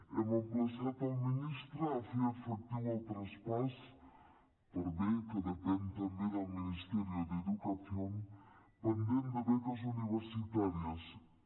hem emplaçat el ministre a fer efectiu el traspàs per bé que depèn també del ministerio de educación pendent de beques universitàries que